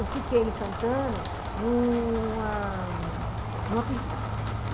Eu fiquei em Santana numa pensão.